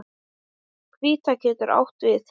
Hvíta getur átt við